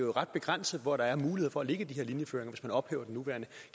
er ret begrænset hvor der er mulighed for at lægge de her linjeføringer hvis man ophæver den nuværende